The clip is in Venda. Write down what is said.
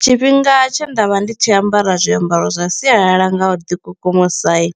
Tshifhinga tshe nda vha ndi tshi ambara zwiambaro zwa sialala nga u ḓi kukumusa i